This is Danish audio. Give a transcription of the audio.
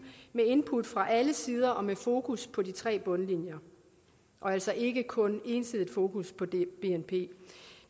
med input fra alle sider og med fokus på de tre bundlinjer og altså ikke kun ensidigt fokus på bnp